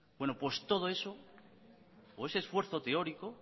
pues todo eso o ese esfuerzo teórico